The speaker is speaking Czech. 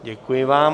Děkuji vám.